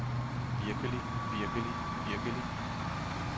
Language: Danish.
virkelig virkelig virkelig